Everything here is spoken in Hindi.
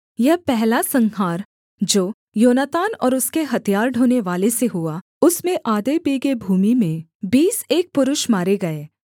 यह पहला संहार जो योनातान और उसके हथियार ढोनेवाले से हुआ उसमें आधे बीघे भूमि में बीस एक पुरुष मारे गए